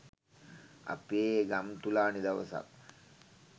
අපේ ගම්තුලානේ දවසක්